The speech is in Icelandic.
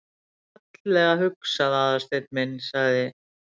Þetta er fallega hugsað, Aðalsteinn minn- sagði